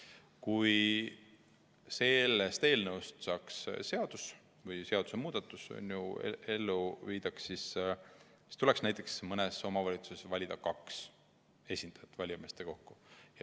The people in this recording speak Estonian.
Kui aga sellest eelnõust tulenev seadusemuudatus ellu viiakse, siis tuleks mõnes omavalitsuses valida valijameeste kogusse näiteks kaks esindajat.